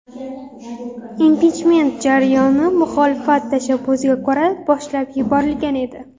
Impichment jarayoni muxolifat tashabbusiga ko‘ra boshlab yuborilgan edi.